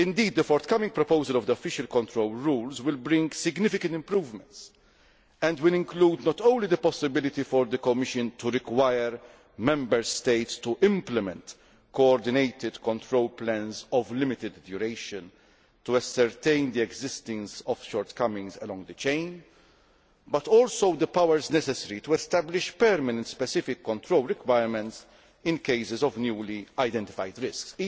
The forthcoming proposal on the official control rules will indeed bring significant improvements and will include not only the possibility for the Commission to require Member States to implement coordinated control plans of limited duration to ascertain the existence of shortcomings along the chain, but also the powers necessary to establish permanent specific control requirements in cases of newly identified risks.